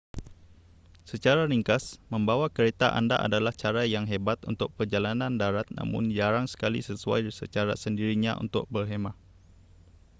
secara ringkas membawa kereta anda adalah cara yang hebat untuk perjalanan darat namun jarang sekali sesuai secara sendirinya untuk 'berkhemah'